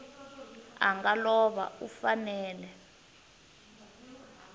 a nga lova u fanele